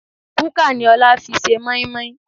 Kúkà ni Ọlá fi ṣe moimoi